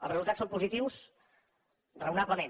els resultats són positius raonablement